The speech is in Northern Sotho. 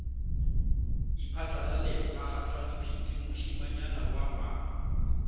iphatlalalet bakgathalehwiti mošemanyana wa nywaga